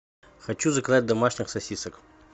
хочу заказать домашних сосисок